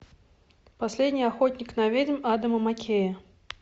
последний охотник на ведьм адама маккея